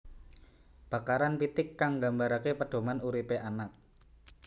Bakaran pitik kang nggambaraké pedoman uripé anak